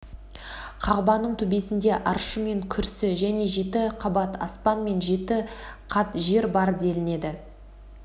қағбаның төбесінде аршы мен күрсі және жеті қабат аспан мен жеті қат жер бар делінеді